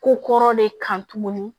Ko kɔrɔ de kan tuguni